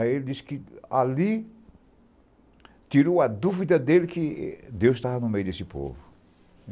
Aí ele disse que ali tirou a dúvida dele que Deus estava no meio desse povo.